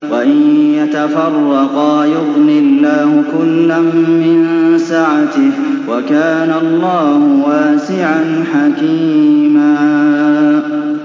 وَإِن يَتَفَرَّقَا يُغْنِ اللَّهُ كُلًّا مِّن سَعَتِهِ ۚ وَكَانَ اللَّهُ وَاسِعًا حَكِيمًا